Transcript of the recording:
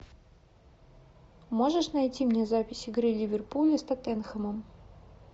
можешь найти мне запись игры ливерпуля с тоттенхэмом